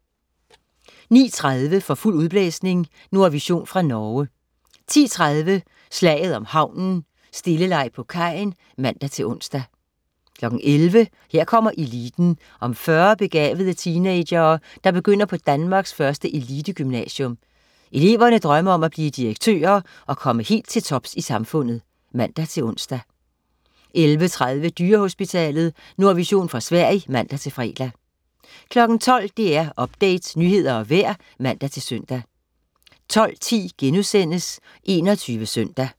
09.30 For fuld udblæsning. Nordvision fra Norge 10.30 Slaget om havnen. Stilleleg på kajen (man-ons) 11.00 Her kommer eliten. Om 40 begavede teenagere, der begynder på Danmarks første elitegymnasium. Eleverne drømmer om at blive direktører og komme helt til tops i samfundet (man-ons) 11.30 Dyrehospitalet. Nordvision fra Sverige (man-fre) 12.00 DR Update. Nyheder og vejr (man-søn) 12.10 21 Søndag*